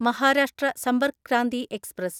Maharashtra Sampark Kranti express